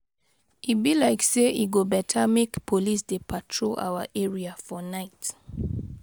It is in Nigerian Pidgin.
E be like sey e go beta make police dey patrol our area for night.